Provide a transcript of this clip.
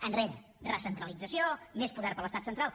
enrere recentralització més poder per a l’estat central